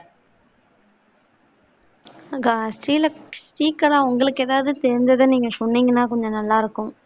ஆஹ் ஸ்ரீ ஸ்ரீகலாஉங்களுக்கு எதாவத தெரிஞ்சத நீங்க சொன்னீங்கன்னா கொஞ்சம் நல்லா இருக்கும்